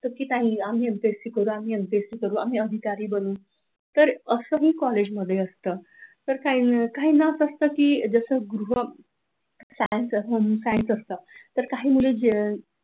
काही आम्ही एमपीएससी करू आम्ही एमपीएससी करू आम्ही अधिकारी बनू तर, असाही कॉलेजमध्ये असतं! तर काही ना असतं की तसं तसं गृह सायन्स असत,